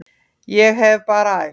Ég hef bara æft.